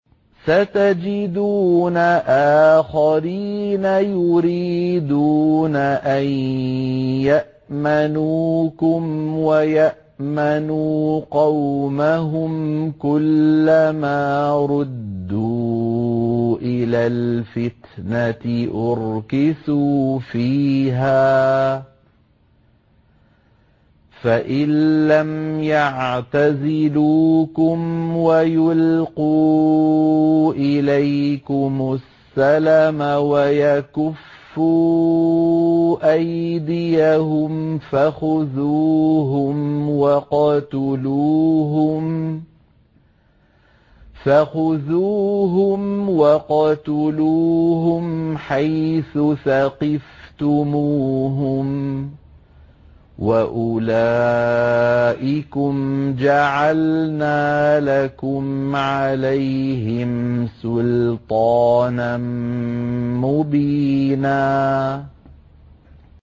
سَتَجِدُونَ آخَرِينَ يُرِيدُونَ أَن يَأْمَنُوكُمْ وَيَأْمَنُوا قَوْمَهُمْ كُلَّ مَا رُدُّوا إِلَى الْفِتْنَةِ أُرْكِسُوا فِيهَا ۚ فَإِن لَّمْ يَعْتَزِلُوكُمْ وَيُلْقُوا إِلَيْكُمُ السَّلَمَ وَيَكُفُّوا أَيْدِيَهُمْ فَخُذُوهُمْ وَاقْتُلُوهُمْ حَيْثُ ثَقِفْتُمُوهُمْ ۚ وَأُولَٰئِكُمْ جَعَلْنَا لَكُمْ عَلَيْهِمْ سُلْطَانًا مُّبِينًا